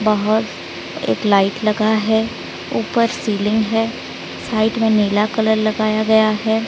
बाहर एक लाइट लगा है ऊपर सीलिंग है साइड में नीला कलर लगाया गया है।